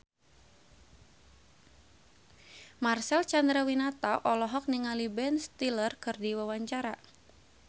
Marcel Chandrawinata olohok ningali Ben Stiller keur diwawancara